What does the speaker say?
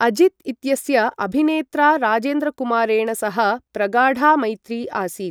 अजित् इत्यस्य अभिनेत्रा राजेन्द्रकुमारेण सह प्रगाढा मैत्री आसीत्।